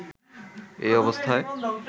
এই অবস্থায়